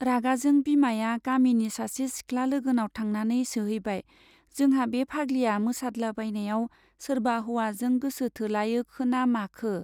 रागाजों बिमाया गामिनि सासे सिख्ला लोगोनाव थांनानै सोहैबाय, जोंहा बे फाग्लिया मोसादलाबायनायाव सोरबा हौवाजों गोसो थोलायखोना माखो ?